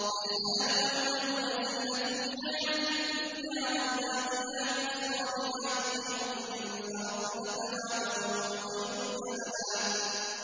الْمَالُ وَالْبَنُونَ زِينَةُ الْحَيَاةِ الدُّنْيَا ۖ وَالْبَاقِيَاتُ الصَّالِحَاتُ خَيْرٌ عِندَ رَبِّكَ ثَوَابًا وَخَيْرٌ أَمَلًا